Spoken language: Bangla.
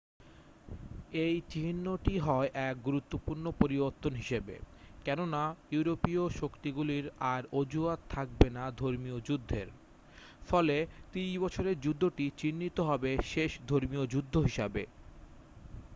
এটি চিহ্নিত হয় এক গুরুত্বপূর্ণ পরিবর্তন হিসেবে কেননা ইউরোপীয় শক্তিগুলির আর অজুহাত থাকবে না ধর্মীয় যুদ্ধের ফলে ত্রিশ বছরের যুদ্ধটি চিহ্নিত হবে শেষ ধর্মীয় যুদ্ধ হিসাবে